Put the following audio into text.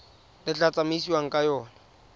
le tla tsamaisiwang ka yona